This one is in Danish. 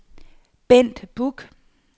Bent Buch